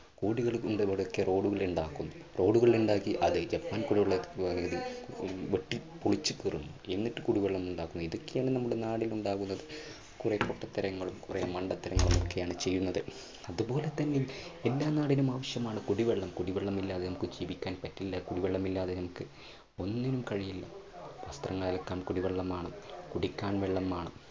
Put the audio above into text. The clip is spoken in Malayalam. കോടികൾ കൊണ്ട് മുടക്കിയ road കള്‍ ഉണ്ടാക്കും. road കൾ ഉണ്ടാക്കി അതിൽ ജപ്പാൻ കൂടിവെള്ള പദ്ധതിക്ക് വെട്ടിപ്പൊളിച്ചു കീറും. എന്നിട്ട് കുടിവെള്ളം ഉണ്ടാക്കുക. ഇതൊക്കെയാണ് നമ്മുടെ നാടിന് ഉണ്ടാകുന്നത്. കുറെ പൊട്ടത്തരങ്ങളും കുറെ മണ്ടത്തരങ്ങളും ഒക്കെയാണ് ചെയ്യുന്നത്. അത് പോലെ തന്നെ എല്ലാ നാടിനും ആവശ്യമാണ് കുടിവെള്ളം. കുടിവെള്ളമില്ലാതെ നമുക്ക് ജീവിക്കാൻ പറ്റില്ല, കുടിവെള്ളമില്ലാതെ നമുക്ക് ഒന്നിനും കഴിയില്ല. വസ്ത്രങ്ങൾ അലക്കാൻ കുടിവെളളം വേണം കുടിക്കാൻ വെള്ളം വേണം.